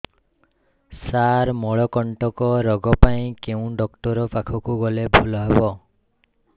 ସାର ମଳକଣ୍ଟକ ରୋଗ ପାଇଁ କେଉଁ ଡକ୍ଟର ପାଖକୁ ଗଲେ ଭଲ ହେବ